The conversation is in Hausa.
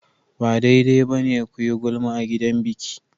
Ba daidai ba ne ku yi gulma a gidan biki.